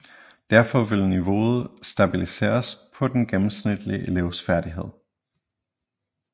Derfor vil niveauet stabiliseres på den gennemsnitlige elevs færdighed